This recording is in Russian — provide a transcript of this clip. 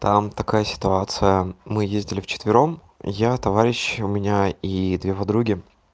там такая ситуация мы ездили в четвером я товарищи у меня и две подруги